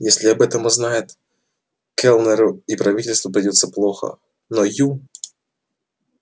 если об этом узнают кэллнеру и правительству придётся плохо но ю